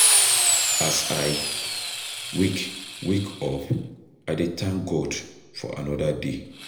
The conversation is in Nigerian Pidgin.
As I wake wake up, I dey thank God for another day.